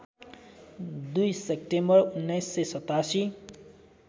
२ September १९८७